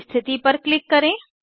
स्थिति पर क्लिक करें